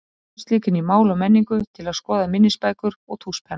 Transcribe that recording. Ég skaust líka inn í Mál og menningu til að skoða minnisbækur og tússpenna.